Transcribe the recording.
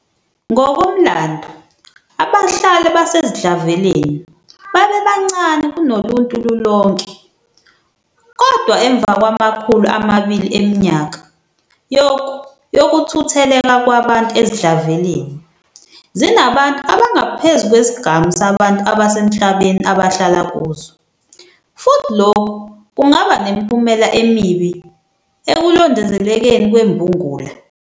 Ngokomlando, abahlali basezidlaveleni babebancane kunoluntu lulonke, kodwa emva kwamakhulu amabili eminyaka yokuthutheleka kwabantu ezidlaveleni, zinabantu abangaphezu kwesigamu sabantu abasemhlabeni abahlala kuzo, futhi lokhu kungaba nemiphumela emibi ekulondolozekeni kwembulunga.